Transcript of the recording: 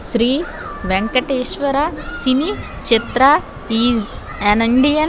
sri venkateswara cine chitra is an Indian --